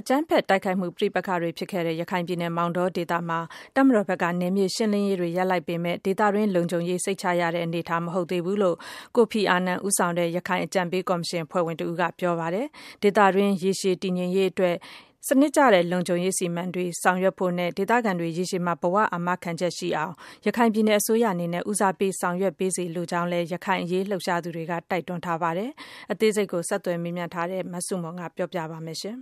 အကြမ်းဖက်တိုက်ခိုက်မှု ပဋိပက္ခတွေဖြစ်ခဲ့တဲ့ ရခိုင်မောင်တောဘက်မှာ တပ်မတော်ဘက်က နယ်မြေရှင်းလင်းရေးတွေ ရပ်နားလိုက်ပေမဲ့လို့ နယ်မြေဒေသတွင်း လုံခြုံရေးဟာ စိတ်ချလုံခြုံရတဲ့ အနေအထား မဟုတ်သေးဘူး လို့ ကိုဖီအာနန်ဦးဆောင်တဲ့ ရခိုင်အကြံပေးကော်မရှင် အဖွဲ့ဝင်တဦးက ပြောကြားလိုက်ပါတယ်။ ရေရှည်ဒေသတွင်းတည်ငြိမ်ရေးအတွက် စနစ်ကျတဲ့လုံခြုံရေးအစီအမံတွေ ဆောင်ရွက်ဖို့ နဲ့ ဒေသခံတွေ ရေရှည်ဘဝအာမခံချက်ရှိအောင် ရခိုင်ပြည်နယ်အစိုးရအနေနဲ့ ဦးစားပေး ဆောင်ရွက်ပေးစေလိုပါတယ်လို့လည်း ရခိုင်အရေးလှုပ်ရှားသူတွေက တိုက်တွန်းပါတယ်။ အသေးစိတ် ဆက်သွယ်မေးမြန်းထားတဲ့ မဆုမွန်က ဆက်ပြောပြပါမယ်။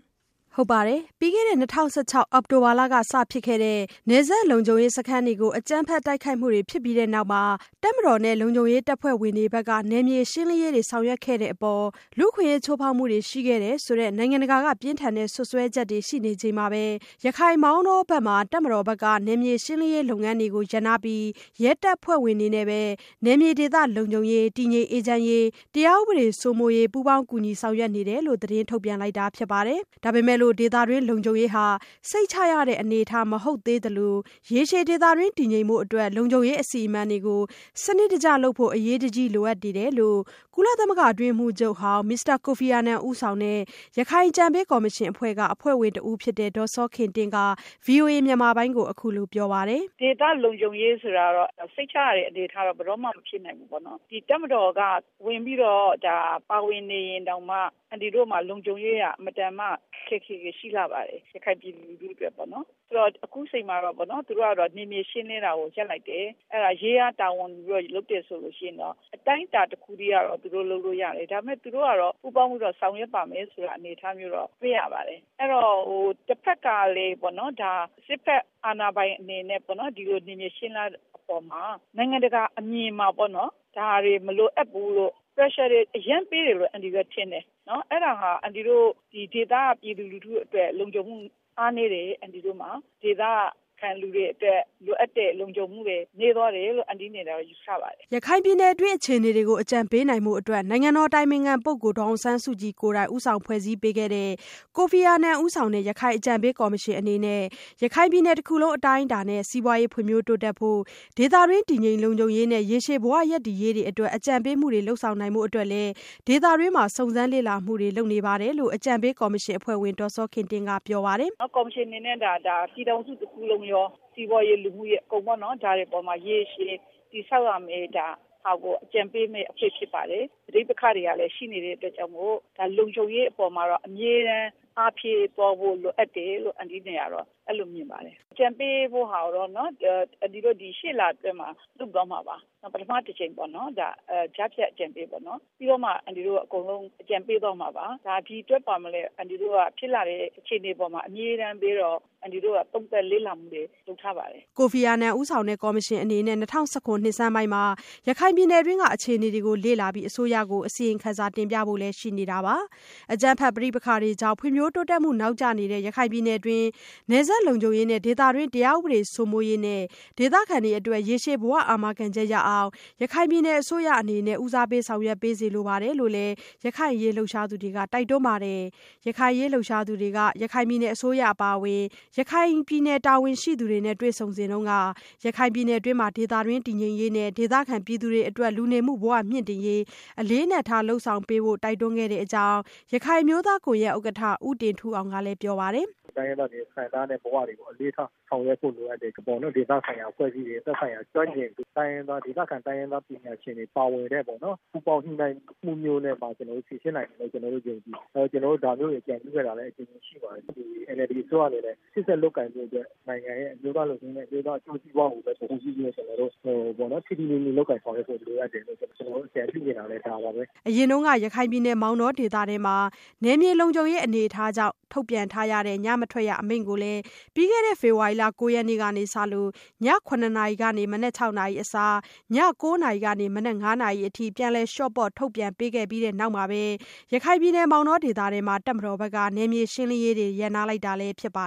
ပြီးခဲ့တဲ့၂၀၁၆ အောက်တိုဘာလကစဖြစ်ခဲ့တဲ့ နယ်စပ်လုံခြုံရေးစခန်းတွေကို အကြမ်းဖက်တိုက်ခိုက်မှုတွေဖြစ်ပြီးနောက်မှာ တပ်မတော်နဲ့ လုံခြုံရေးတပ်ဖွဲ့ဝင်တွေဘက်က နယ်မြေရှင်းလင်းရေးတွေ ဆောင်ရွက်ခဲ့မှုအပေါ် လူ့အခွင့်အရေးချိုးဖောက်မှုတွေရှိခဲ့တယ်ဆိုတဲ့ နိုင်ငံတကာက ပြင်းထန်တဲ့စွပ်စွဲချက်တွေရှိနေချိန်မှာပဲ ရခိုင်မောင်တောဘက်မှာ တပ်မတော်ဘက်က နယ်မြေရှင်းလင်းရေးလုပ်ငန်းတွေ ရပ်နားပြီး ရဲတပ်ဖွဲ့ဝင်တွေနဲ့ပဲ နယ်မြေဒေသလုံခြုံရေး၊ တည်ငြိမ်အေးချမ်းရေး၊ တရားဥပဒေစိုးမိုးရေး ပူးပေါင်းကူညီဆောင်ရွက်နေတယ်လို့ သတင်းထုတ်ပြန်လိုက်တာဖြစ်ပါတယ်။ ဒါပေမဲ့လို့ ဒေသတွင်းလုံခြုံရေးဟာ စိတ်ချရတဲ့အနေအထားမဟုတ်သေးသလို ရေရှည်ဒေသတွင်းတည်ငြိမ်ဖို့ လုံခြုံရေးအစီအမံတွေကို စနစ်တကျလုပ်ဖို့ အရေးကြီးလိုအပ်နေတယ်လို့ ကုလသမဂ္ဂအတွင်းရေးမှူးချုပ်ဟောင်း မစ္စတာကိုဖီအာနန် ဦးဆောင်တဲ့ ရခိုင်အကြံပေးကော်မရှင်အဖွဲ့က အဖွဲ့ဝင်တဦးဖြစ်တဲ့ ဒေါ်စောခင်တင့်က ဗွီအိုအေမြန်မာပိုင်းကို အခုလိုပြောပါတယ်။ “ ဒေသလုံခြုံရေးဆိုတာ စိတ်ချရတဲ့အနေအထား ဘယ်တော့မှ မဖြစ်နိုင်ဘူးပေါ့။ တပ်မတော်က ဝင်ပြီးတော့ ပါဝင်နေရင်တောင်မှ လုံခြုံရေးက အင်မတန်မှ ခက်ခက်ခဲခဲ ရှိလှပါတယ် ရခိုင်ပြည်သူလူထုအတွက်ပေါ့နော်။ ဆိုတော့ အခုအချိန်မှာတော့ နယ်မြေရှင်းလင်းတာကို ရပ်လိုက်တယ်။ အဲ့တာရဲက တာဝန်ယူပြီး လုပ်တယ်ဆိုလို့ရှိရင်တော့ အတိုင်းအတာတခုအထိကတော့ လုပ်လို့ရတယ်။ ဒါပေမဲ့ သူတို့ကတော့ ပူးပေါင်းပြီးတော့ ဆောင်ရွက်ပါ့မယ်ဆိုတဲ့ အနေအထားမျိုးတော့ တွေ့ရပါတယ်။ အဲ့ဒီ့တော့ တဘက်ကလည်း စစ်ဘက်အာဏာပိုင်အနေနဲ့ကလည်း ဒီလိုနယ်မြေရှင်းလင်းတဲ့အပေါ်မှာ နိုင်ငံတကာအမြင်မှာ ဒါတွေ မလိုအပ်ဘူးလို့ Pressure တွေ အရမ်းပေးတယ်လို့ အန်တီတို့က ထင်တယ်။ အဲ့တာဟာ အန်တီတို့ ဒေသက ပြည်သူလူထုအတွက် လုံခြုံမှု အားနည်းတယ် အန်တီတို့မှာ။ ဒေသခံပြည်သူတွေအတွက် လိုအပ်တဲ့ လုံခြုံမှုတွေ နည်းသွားတယ်လို့ အန်တီ့အနေနဲ့ကတော့ ယူဆပါတယ်။” ရခိုင်ပြည်နယ်အတွင်း အခြေအနေတွေကို အကြံပေးနိုင်ဖို့ နိုင်ငံတော်အတိုင်ပင်ခံပုဂ္ဂိုလ်ဒေါ်အောင်ဆန်းစုကြည်ကိုယ်တိုင် ဖွဲ့စည်းပေးထားတဲ့ ကိုဖီအာနန်ဦးဆောင်တဲ့ ရခိုင်အကြံပေးကော်မရှင်အနေနဲ့ ရခိုင်ပြည်နယ်တခုလုံး အတိုင်းအတာနဲ့ စီးပွားရေးဖွ့ံ့ဖြိုးတိုးတက်ဖို့၊ ဒေသတွင်း တည်ငြိမ်လုံခြုံရေးနဲ့ ရေရှည်ဘဝရပ်တည်ရေးတွေအတွက် အကြံပေးမှုတွေ လုပ်ဆောင်နိုင်ဖို့အတွက်လည်း ဒေသတွင်းစုံစမ်းလေ့လာမှုတွေ လုပ်နေတယ်လို့ အကြံပေးကော်မရှင်အဖွဲ့ဝင်ဒေါ်စောခင်တင့်ကပြောပါတယ်။ “ကော်မရှင်အနေနဲ့ကတော့ ပြည်နယ်တခုလုံးရော စီးပွားရေး၊ လူမှုရေး ဒါတွေအပေါ်မှာ ရေရှည်တည်ဆောက်ရမယ့်ဟာတွေကို အကြံပေးရမယ့် အဖွဲ့ဖြစ်ပါတယ်။ ပဋိပက္ခတွေကလည်း ရှိနေသေးတဲ့အတွက် လုံခြုံရေးအပေါ်မှာလည်း အားဖြည့်သွားဖို့ လိုအပ်တယ်လို့ အန်တီ့အနေနဲ့ကတော့ အဲ့လိုမြင်ပါတယ်။ အကြံပေးမှာကိုတော့ အန်တီ့တို့အနေနဲ့ ရှေ့လအတွင်း လုပ်သွားမှာပါ။ ပထမအကြိမ် ကြားဖြတ် အကြံပေးပေါ့။ အကုန်လုံး အကြံပေးသွားမှာပါ။ ဒီ့အတွက်လည်း ဖြစ်လာတဲ့အခြေအနေအပေါ် အမြဲတမ်း အန်တီတို့က သုံးသပ်လေ့လာမှုတွေ လုပ်ထားပါတယ်။” ကိုဖီအာနန်ဦးဆောင်တဲ့ကော်မရှင်အနေနဲ့ ၂၀၁၇ ခုနှစ် နှစ်ဆန်းပိုင်းမှာပဲ ရခိုင်ပြည်နယ်တွင်းက အခြေအနေတွေကို လေ့လာပြီး အစိုးရကို ကြားဖြတ်အစီရင်ခံစာ တင်ပြဖို့လည်းရှိနေပါတယ်။ အကြမ်းဖက်မှုပဋိပက္ခတွေကြောင့် ဖွံ့ဖြိုးတိုးတက်မှုနောက်ကျနေတဲ့ ရခိုင်ပြည်နယ်တွင်း နယ်စပ်လုံခြုံရေး၊ ဒေသတွင်း တရားဥပဒေစိုးမိုးရေးနဲ့ ဒေသခံတွေအတွက် ရေရှည်ဘဝအာမခံချက် ရအောင် ရခိုင်ပြည်နယ်အစိုးရအနေနဲ့ ဦးစားပေး ဆောင်ရွက်ပေးစေလိုပါတယ်လို့လည်း ရခိုင်အရေးလှုပ်ရှားသူတွေက တိုက်တွန်းပါတယ်။ ရခိုင်အရေးလှုပ်ရှားသူတွေက ရခိုင်ပြည်နယ်အစိုးရအပါအဝင် ရခိုင်ပြည်နယ်အရေးတာဝန်ရှိသူတွေနဲ့တွေ့ဆုံက ရခိုင်ပြည်နယ်တွင်း ဒေသတွင်းတည်ငြိမ်ရေးနဲ့ ဒေသခံပြည်သူတွေအတွက် လူနေမှုဘဝတွေမြင့်တင်နိုင်ရေး အလေးအနက်ထား လုပ်ဆောင်ပေးဖို့ တိုက်တွန်းခဲ့တဲ့အကြောင်းလည်း ရခိုင်အမျိုးသားကွန်ရက်ဥက္ကဋ္ဌ ဦးတင်ထူးအောင်ကလည်း ပြောပါတယ်။ “တိုင်းရင်းသားတွေ ခံစားနေရတဲ့ဘဝတွေကို အလေးထားဆောင်ရွက်ဖို့ လိုအပ်တယ်။ ဒေသခံအဖွဲ့အစည်းတွေ သက်ဆိုင်ရာ ကျွမ်းကျင်သူတွေ ဒေသခံ တိုင်းရင်းသားပညာရှင်တွေ ပါဝင်တဲ့ ပူးပေါင်းညှိနှိုင်းမှုမျိုးနဲ့မှ ကျနော်တို့ ယုံကြည်ပါတယ်။ ကျနော်တို့ ဒါမျိုးတွေ အကြံပြုခဲ့တာတွေလည်း အကြိမ်ကြိမ်ရှိပါတယ်။ NLD အစိုးရအနေနဲ့ ရှေ့ဆက်လုပ်ကိုင်ဖို့အတွက် နိုင်ငံရဲ့ အမျိုးသားလုံခြုံရေးနဲ့ အမျိုးသားအကျိုးစီးပွားကို ထိထိမိမိ လုပ်ကိုင်ဖို့ လိုအပ်တယ်လို့ ကျနော်တို့ အကြံပြုချင်တာလည်း ဒါပါပဲ။” အရင်မောင်တောဒေသတွင်း နယ်မြေလုံခြုံရေးအနေအထားကြောင့် ထုတ်ပြန်ထားတဲ့ ညမထွက်ရအမိန့်ကိုလည်း ပြီးခဲ့တဲ့ ဖေဖော်ဝါရီလ ၉ရက်နေ့ကစလို့ ည ၇နာရီကနေ မနက် ၆နာရီအစား ည ၉နာရီကနေ မနက် ၅နာရီအထိ ပြန်လည်လျှော့ပေါ့ထုတ်ပြန်ပေးခဲ့ပြီးနောက်မှာပဲ ရခိုင်ပြည်နယ်အတွင်း တပ်မတော်ဘက်က နယ်မြေရှင်းလင်းရေးတွေ ရပ်နားလိုက်တာလည်းဖြစ်ပါ